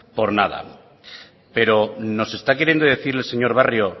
por nada pero nos está queriendo decir el señor barrio